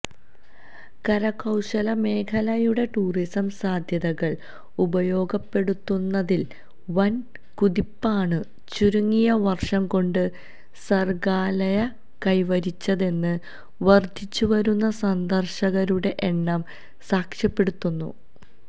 കരകൌശലമേഖലയുടെ tourism സാധ്യതകൾ ഉപയോഗപ്പെടുത്തുന്നതിൽ വൻ കുതിപ്പാണു ചുരുങ്ങിയ വർഷം കൊണ്ട് സർഗാലയ കൈവരിച്ചതെന്ന് വർധിച്ചുവരുന്ന സന്ദർശകരുടെ എണ്ണം സാക്ഷ്യപ്പെടുത്തുന്നു